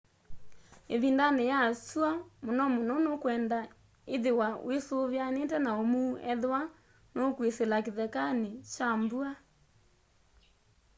ĩvindanĩ ya syũa mũno mũno nũkwenda ithiwa wĩsuvianiite na ũmuu ethĩwa nũkwĩsĩla kĩthekanĩ kya mbua